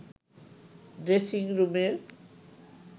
dressing রুমের